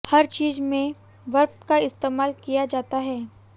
हर चीज़ में बर्फ का इस्तेमाल किया जाता है